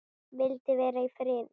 Vildi vera í friði.